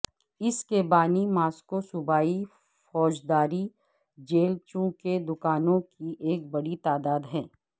اس کے بانی ماسکو صوبائی فوجداری جیل چونکہ دکانوں کی ایک بڑی تعداد ہے